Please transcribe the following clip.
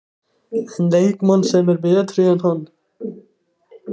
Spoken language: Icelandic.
En leikmann sem er betri en hann?